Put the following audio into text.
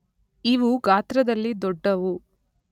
ಇವು ಗಾತ್ರದಲ್ಲಿ ದೊಡ್ಡವು.